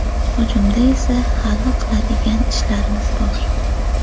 Hujumda esa hali qiladigan ishlarimiz bor.